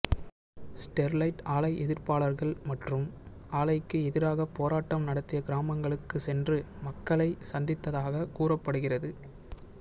Sterlite ஆலை எதிர்ப்பாளர்கள் மற்றும் ஆலைக்கு எதிராக போராட்டம் நடத்திய கிராமங்களுக்கு சென்று மக்களை சந்தித்ததாக கூறப்படுகிறது